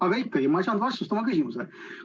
Aga ma ei saanud vastust oma küsimusele.